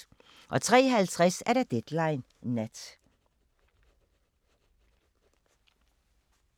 03:50: Deadline Nat